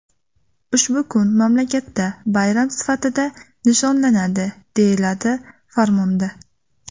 Ushbu kun mamlakatda bayram sifatida nishonlanadi, deyiladi farmonda.